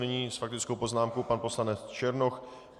Nyní s faktickou poznámkou pan poslanec Černoch.